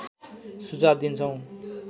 सुझाव दिन्छौँ